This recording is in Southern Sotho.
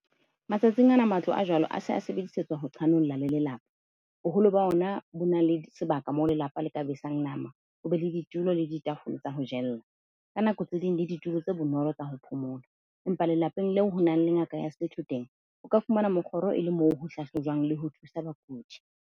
Matsatsing ana, matlo a jwalo a se sebedisetswa ho qhanolla le lelapa. Boholo ba ona bo na le sebaka, moo lelapa le ka besang nama. Ho be le ditulo le ditafole tsa ho jella ka nako tse ding le ditulo tse bonolo tsa ho phomola, empa lelapeng leo ho nang le ngaka ya setho teng o ka fumana mokgoro e le moo ho hlahlojwang, le ho thusa bakudi.